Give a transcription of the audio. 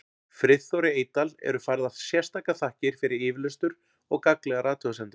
Friðþóri Eydal eru færðar sérstakar þakkir fyrir yfirlestur og gagnlegar athugasemdir.